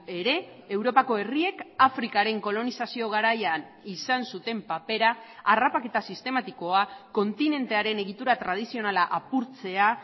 ere europako herriek afrikaren kolonizazio garaian izan zuten papera harrapaketa sistematikoa kontinentearen egitura tradizionala apurtzea